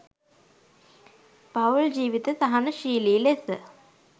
පවුල් ජීවිත සහනශීලි ලෙස